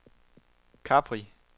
Capri